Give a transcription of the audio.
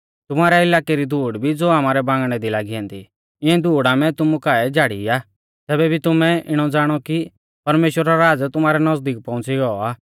तुमारै इलाकै री धूड़ भी ज़ो आमारै बांगणै दी लागी ऐन्दी इऐं धूड़ आमै तुमु काऐ झ़ाड़ी आ तैबै भी तुमै इणौ ज़ाणौ कि परमेश्‍वरा रौ राज़ तुमारै नज़दीक पौऊंच़ी गौ आ